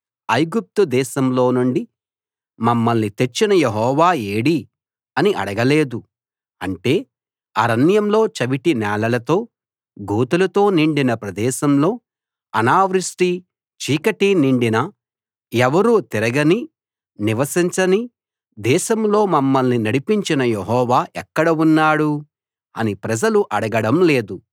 ఐగుప్తు దేశంలో నుండి మమ్మల్ని తెచ్చిన యెహోవా ఏడీ అని అడగలేదు అంటే అరణ్యంలో చవిటి నేలలతో గోతులతో నిండిన ప్రదేశంలో అనావృష్టీ చీకటీ నిండిన ఎవరూ తిరగని నివసించని దేశంలో మమ్మల్ని నడిపించిన యెహోవా ఎక్కడ ఉన్నాడు అని ప్రజలు అడగడం లేదు